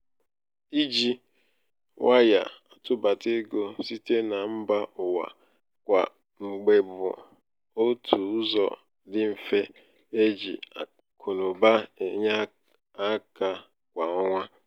i ji waya atụbata ego site na mba ụwa kwa mgbe bụ otù ụzọ dị mfe e ji akụnaụba enye aka kwa ọnwa.